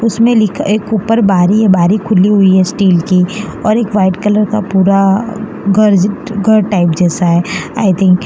उसमें लिखा एक ऊपर बारी है बारी खुली हुई है स्टील की और एक वाइट कलर का पूरा कर्ज कर टाइप जैसा है आई थिंक --